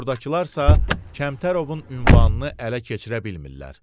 Buradakılar isə Kəmtərovun ünvanını ələ keçirə bilmirlər.